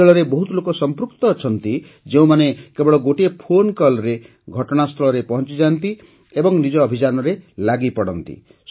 ଏହି ଦଳରେ ବହୁତ ଲୋକ ସଂପୃକ୍ତ ଅଛନ୍ତି ଯେଉଁମାନେ କେବଳ ଗୋଟିଏ ଫୋନ୍କଲ୍ରେ ଘଟଣାସ୍ଥଳରେ ପହଞ୍ଚିଯାଆନ୍ତି ଓ ନିଜ ଅଭିଯାନରେ ଲାଗିପଡ଼ନ୍ତି